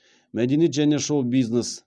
мәдениет және шоу бизнес